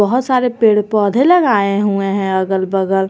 बहुत सारे पेड़ पौधे लगाए हुए हैं अलग बगल।